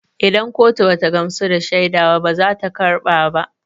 Idan kotu bata gamsu da shaida ba bazata karba ba